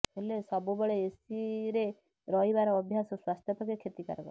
ହେଲେ ସବୁବେଳେ ଏସିରେ ରହିବାର ଅଭ୍ୟାସ ସ୍ୱାସ୍ଥ୍ୟ ପକ୍ଷେ କ୍ଷତିକାରକ